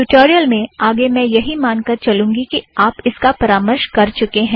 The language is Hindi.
ट्यूटोरियल में आगे मैं यही मान कर चलूँगी कि आप इसका परामर्श कर चुके हैं